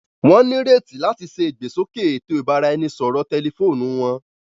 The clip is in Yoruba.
Wọn nireti làti ṣe igbesoke ètò ibaraẹnisọrọ tẹlifóònù wọn